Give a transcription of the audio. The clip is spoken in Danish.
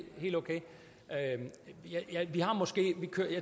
helt okay jeg